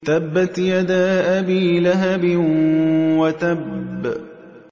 تَبَّتْ يَدَا أَبِي لَهَبٍ وَتَبَّ